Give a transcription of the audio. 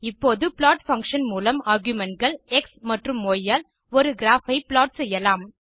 இப்போது plot function மூலம் argumentகள் எக்ஸ் மற்றும் ய் ஆல் ஒரு கிராப் ஐ ப்ளாட் செய்யலாம்